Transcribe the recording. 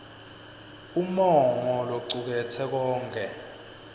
umongo locuketse konkhe